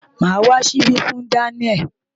Màá wá ṣíbí fún Daniel.